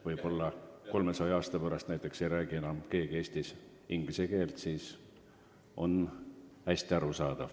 Võib-olla 300 aasta pärast ei räägi keegi enam Eestis inglise keelt, aga kõik peab olema arusaadav.